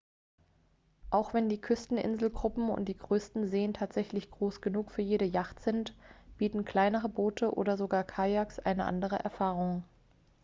auch wenn die küsten-inselgruppen und die größten seen tatsächlich groß genug für jede jacht sind bieten kleinere boote oder sogar kayaks eine andere erfahrung